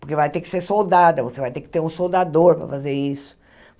porque vai ter que ser soldada, você vai ter que ter um soldador para fazer isso.